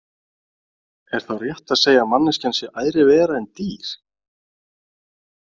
Er þá rétt að segja að manneskjan sé æðri vera en dýr?